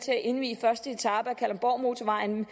indvi første etape af kalundborgmotorvejen